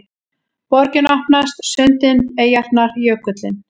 Borgin opnast: sundin, eyjarnar, jökullinn